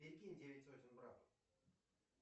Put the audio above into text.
перекинь девять сотен брату